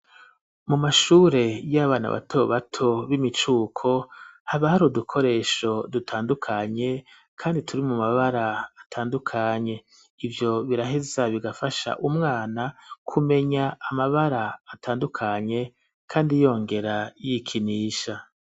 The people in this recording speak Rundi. Mu mashure y'abana bato bato b'imicuko haba hari udukoresho dutandukanye kandi turi mu mabara atandukanye ivyo biraheza bigafasha umwana kumenya amabara atandukanye kandi yongera yikinisha.